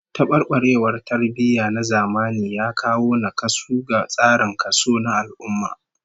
Tabarbarewar tarbiyya na zamani ya kawo nakasu ga tsarin kaso na al'ummah